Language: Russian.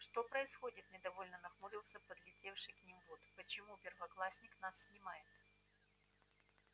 что происходит недовольно нахмурился подлетевший к ним вуд почему первоклассник нас снимает